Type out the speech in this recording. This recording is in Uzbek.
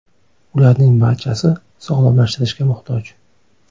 Ularning barchasi sog‘lomlashtirishga muhtoj.